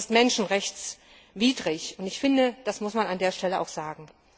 Das ist menschenrechtswidrig und ich finde, das muss man an der Stelle auch sagen.